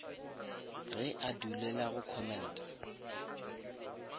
ge a dulela go commenta